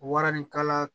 Waranikala